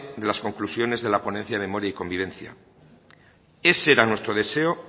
de las conclusiones de la ponencia memoria y convivencia ese era nuestro deseo